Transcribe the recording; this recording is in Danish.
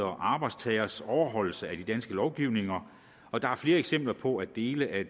og arbejdstagernes overholdelse af den danske lovgivning og der er flere eksempler på at dele af